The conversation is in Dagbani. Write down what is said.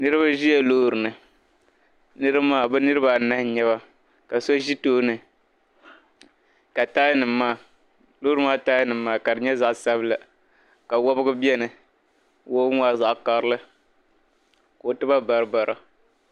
Niriba ʒila loori ni. Niriba maa bɛ niriba anahi n-nyɛ ba ka so ʒi tooni ka loori tayanima maa ka di nyɛ zaɣ' sabila ka wobigu beni. Wobigu maa zaɣ' karili ka o tiba baribara.